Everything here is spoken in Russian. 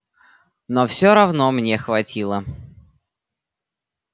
но все равно мне хватило